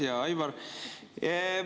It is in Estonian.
Hea Aivar!